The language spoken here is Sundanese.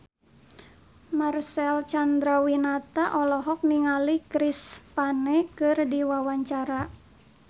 Marcel Chandrawinata olohok ningali Chris Pane keur diwawancara